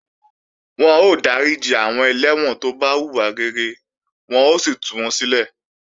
Wọ́n ó dáríji àwọn ẹlẹ́wọ̀n tó bá hùwà rere wọ́n ó sì tú wọn sílẹ̀